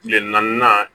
Tile naanian